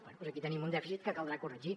bé doncs aquí tenim un dèficit que caldrà corregir